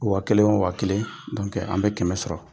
waa kelen o waa kelen an bɛ kɛmɛ sɔrɔ